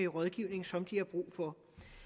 rådgivning som de har brug for